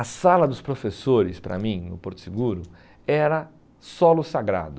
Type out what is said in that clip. A sala dos professores, para mim, no Porto Seguro, era solo sagrado.